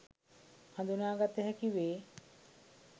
හදුනාගත හැකි වේ.